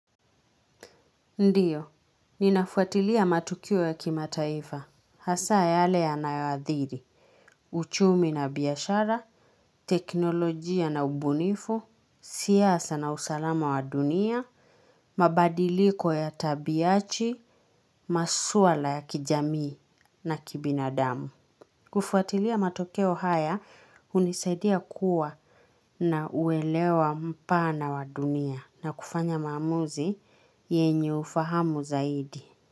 Ndiyo, ninafuatilia matukio ya kimataifa, hasa yaale yanayaadhiri, uchumi na biyashara, teknolojia na ubunifu, siyasa na usalama wa dunia, mabadiliko ya tabiachi, masuala ya kijamii na kibinadamu. Kufuatilia matokeo haya, unisaidia kuwa na uelewa mpana wa dunia na kufanya mamuzi yenye ufahamu zaidi.